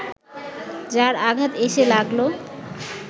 যার আঘাত এসে লাগল